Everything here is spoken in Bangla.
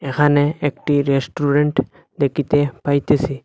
এখানে একটি রেস্টুরেন্ট দেকিতে পাইতেসি।